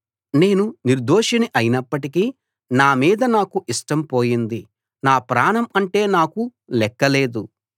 నేను నిర్దోషిని అయినప్పటికీ నా మీద నాకు ఇష్టం పోయింది నా ప్రాణం అంటే నాకు లెక్క లేదు